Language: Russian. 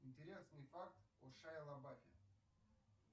интересный факт о шайе лабафе